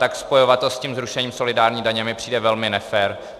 Tak spojovat to s tím zrušení solidární daně mi přijde velmi nefér.